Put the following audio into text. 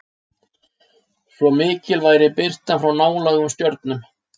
Svo mikil væri birtan frá nálægum stjörnum!